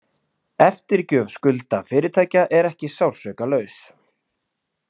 Eftirgjöf skulda fyrirtækja er ekki sársaukalaus